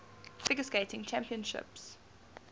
figure skating championships